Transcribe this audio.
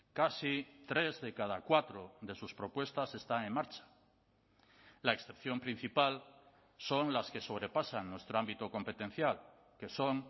casi tres de cada cuatro de sus propuestas están en marcha la excepción principal son las que sobrepasan nuestro ámbito competencial que son